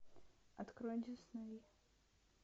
открой дисней